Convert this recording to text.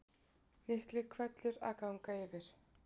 Mikill hvellur að ganga yfir